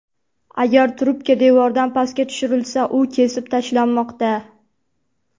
Agar trubka devordan pastga tushirilsa, u kesib tashlanmoqda.